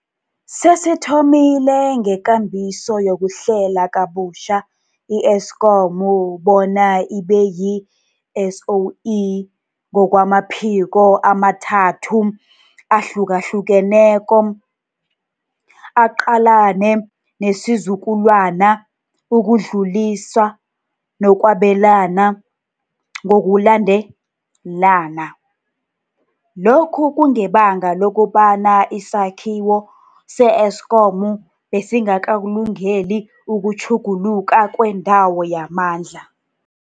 Sesithomile ngekambiso yokuhlela kabutjha i-Eskom bona ibeyi-SOE ngokwamaphiko amathathu ahlukahlukeneko, aqalene nesizukulwana, ukudluliswa nokwabelana, ngokulandelana. Lokhu kungebanga lokobana isakhiwo se-Eskom besingakalungeli ukutjhuguluka kwendawo yamandla.